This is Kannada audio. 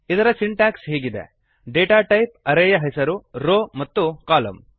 ಇದರ ಸಿಂಟ್ಯಾಕ್ಸ್ ಹೀಗಿದೆ160 ಡೇಟಾ ಟೈಪ್ ಅರೇ ಯ ಹೆಸರು ರೋ ಮತ್ತು ಕಾಲಮ್